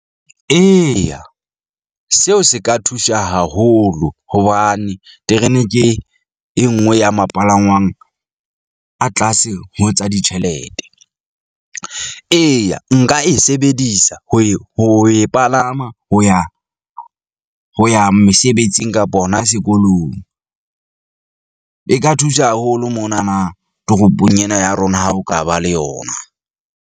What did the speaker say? Eya, seo se ka thusha haholo hobane terene ke e nngwe ya mo palangwang a tlase ho tsa ditjhelete. Eya, nka e sa sebedisa ho e palama ho ya ho ya mesebetsing kapa hona sekolong , e ka thusha haholo mona na toropong ena ya rona, ha ho ka ba le yona.